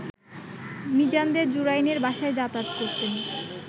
মিজানদের জুরাইনের বাসায় যাতাযাত করতেন